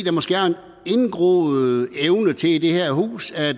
er måske en indgroet evne til i det her hus at